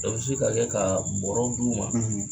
I bɛ se ka kɛ ka bɔrɔ d'u ma.